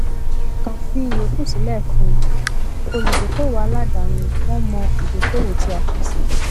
kán fi ìyókù sílẹ fún olùdókoòwò aládaáni wọn mọ ìdókoòwò tí a pèsè